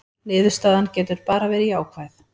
Niðurstaðan getur bara verið jákvæð